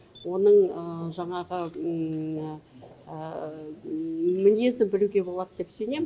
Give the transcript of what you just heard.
оның жаңағы мінезін білуге болады деп сенем